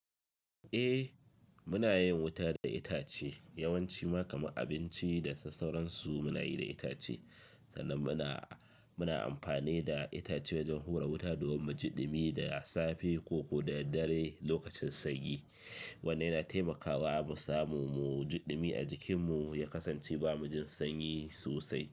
Eh muna yin wuta da itace yawanci ma kamar abinci da sassauran su muna yi da itace, sannan muna, muna amfani da itace don hura wuta domin mujiɗimi da safe ko ko da daddare lokacin sanyi. Wannan yana taimakawa mu samu mujiɗimi a jikinmu ya kasance ba mujin sanyi sosai.